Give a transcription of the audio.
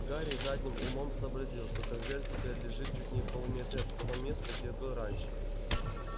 гарри задним умом сообразил что конверт теперь лежит чуть не в полуметре от того места где был раньше